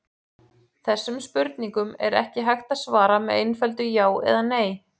Þessum spurningum er ekki hægt að svara með einföldu já eða nei.